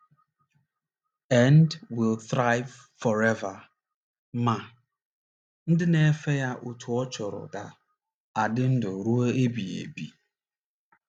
nd, will thrive forever! Ma, ndị na - efe ya otú ọ chọrọ ga - adị ndụ ruo mgbe ebighị ebi.